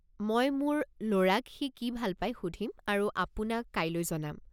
মই মোৰ ল'ৰাক সি কি ভাল পাই সুধিম আৰু আপোনাক কাইলৈ জনাম।